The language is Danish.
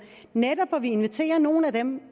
netop inviterer nogle af dem